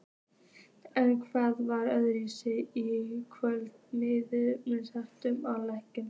En hvað var öðruvísi í kvöld miðað við seinustu leiki?